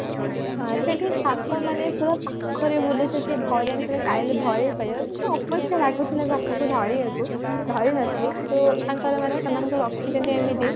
ଆ ଶେଠୀ ସାପ ମାନେ ପୁରା ପାଖରେ ବୁଲୁଛନ୍ତି ଧରିବି ତମେ ଚାହିଁଲେ ତମେ ଧରି ବି ପାରିବ କି ଅପରିଷ୍କାର ଲାଗୁଥିଲା ସାପକୁ ଧରିବାକୁ ଧରି ନଥିଲି କିନ୍ତୁ ତାଙ୍କର ମାନେ ସେମାନଙ୍କୁ ରଖିଛନ୍ତି ଏମିତି